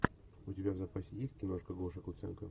у тебя в запасе есть киношка гоша куценко